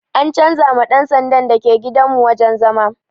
An canza ma ɗan sandan da ke gidan mu wajen zama